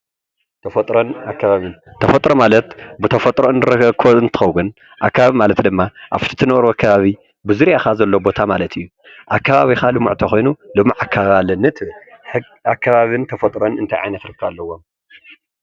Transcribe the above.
ተፈጥሮን ከባብን ኣብ ሓደ ከባቢ ቡዙሓት ፍጥረታት ዝሓዘ እዩ። ሕግን ኣገባብን የጠቃልል።